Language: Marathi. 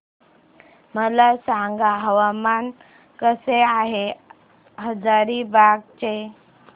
मला सांगा हवामान कसे आहे हजारीबाग चे